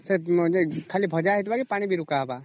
ଖାଲି ଭଜା ହେଇଥିବା କି ପାଣି ବି ରୁକ ହେବ